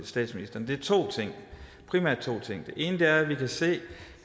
statsministeren er primært to ting ene er at vi kan se